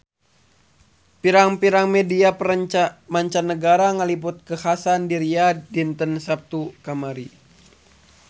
Pirang-pirang media mancanagara ngaliput kakhasan di Riyadh dinten Saptu kamari